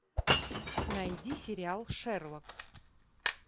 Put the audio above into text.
найди сериал шерлок